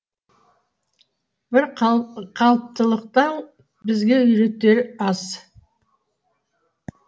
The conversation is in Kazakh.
бір қалыптылықтың бізге үйретері аз